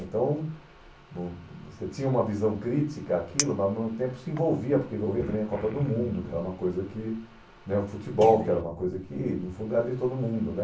Então, vo você tinha uma visão crítica àquilo, mas ao mesmo tempo se envolvia, porque envolvia também a Copa do Mundo, que era uma coisa que... né, o futebol, que era uma coisa que no fundo era de todo mundo, né?